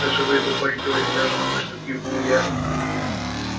а живые покойники очень даже научны кивнул я